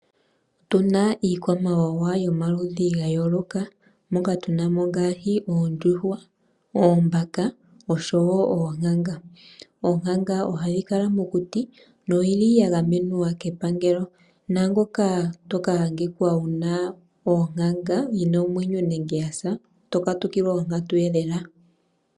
Otuna iikwamawawa yomaludhi gayooloka moka tunamo ngaashi oondjuhwa, oombaka, osho wo oonkanga. Onkanga ohayi kala mokuti noyili yagamenwa kepangelo, naangoka toka adhika wuna onkanga yina omwenyo nenge yasa oto katukilwa onkatu lela.